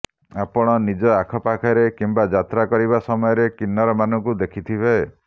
ଆପଣ ନିଜ ଆଖପାଖରେ କିମ୍ବା ଯାତ୍ରା କରିବା ସମୟରେ କିନ୍ନରମାନଙ୍କୁ ଦେଖିଥିବେ